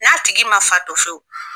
N'a tigi man fa fewu